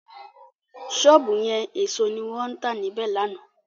Sọ́ọ̀bù yẹn èso ni wọ́n tà níbẹ̀ lánàá.